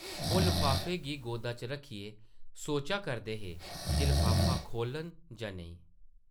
ओह् लफाफे गी गोदा च रक्खियै सोचा करदे हे जे लफाफा खोह्लन जां नेईं ।